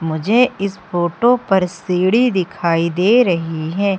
मुझे इस फोटो पर सीढी दिखाई दे रही है।